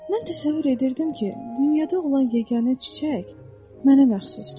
Mən təsəvvür edirdim ki, dünyada olan yeganə çiçək mənə məxsusdur.